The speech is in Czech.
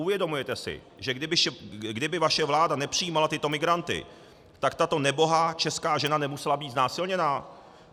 Uvědomujete si, že kdyby vaše vláda nepřijímala tyto migranty, tak tato nebohá česká žena nemusela být znásilněna?